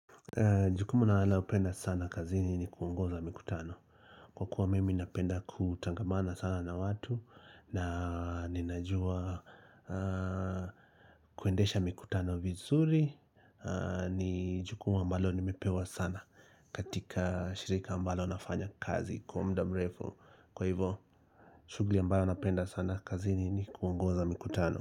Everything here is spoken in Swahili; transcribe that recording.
Jukumu nayoipenda sana kazini ni kuongoza mikutano. Kwa kuwa mimi napenda kutangamana sana na watu na ninajua kuendesha mikutano vizuri. Ni jukumu ambalo nimepewa sana katika shirika ambalo nafanya kazi kwa muda mrefu. Kwa hivyo shughuli ambayo napenda sana kazini ni kuongoza mikutano.